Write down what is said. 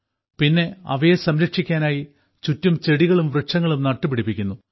പിന്നെ അവയെ സംരക്ഷിക്കാനായി ചുറ്റും ചെടികളും വൃക്ഷങ്ങളും നട്ടുപിടിപ്പിക്കുന്നു